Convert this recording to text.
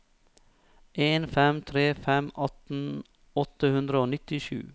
en fem tre fem atten åtte hundre og nittisju